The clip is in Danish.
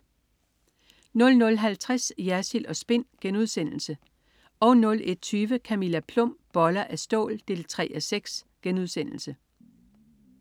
00.50 Jersild & Spin* 01.20 Camilla Plum. Boller af stål 3:6*